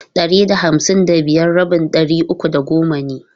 Ɗari da hamsin da biyar rabin ɗari uku da goma ne.